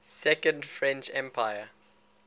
second french empire